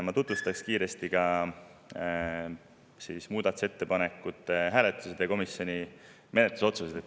Ma tutvustaksin kiiresti ka muudatusettepanekute hääletusi ja komisjoni menetlusotsuseid.